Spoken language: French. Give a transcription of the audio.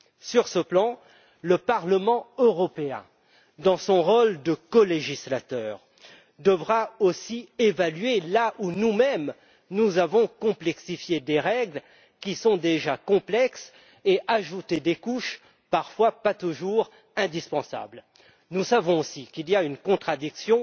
Sur ce plan, le Parlement européen, dans son rôle de colégislateur, devra aussi évaluer là où nous mêmes, nous avons complexifié des règles qui sont déjà complexes et ajouté des couches parfois superflues. Nous savons aussi qu'il y a une contradiction